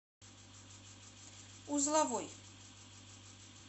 узловой